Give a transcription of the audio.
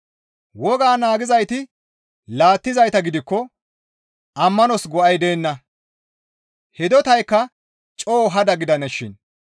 Woga naagizayti laattizayta gidikko ammanos go7ay deenna; hidotaykka coo hada gidanashin;